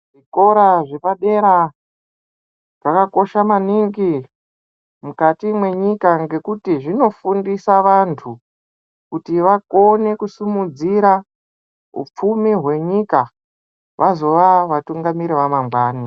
Zvikora zvepadera zvakakosha maningi mukati mwenyika. Ngekuti zvinofundisa vantu kuti vakone kusimudzira hupfumi hwenyika vazova vatungamiri vamangwani.